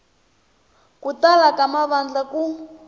ku tala ka mavandla ku